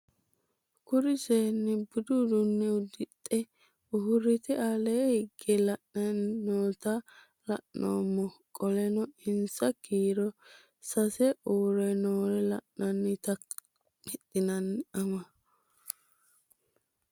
Kuri seeni budu udune udixe urite ale hige la'ani noota la'nemo qoleno insa kiiro sase u're noore lan'enoti hexenani ama